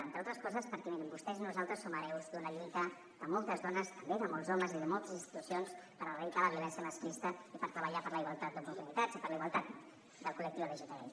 entre altres coses perquè mirin vostès i nosaltres som hereus d’una lluita de moltes dones també de molts homes i de moltes institucions per erradicar la violència masclista i per treballar per la igualtat d’oportunitats i per la igualtat del col·lectiu lgtbi